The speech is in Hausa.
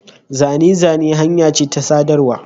Zane-zane hanya ce ta sadarwa.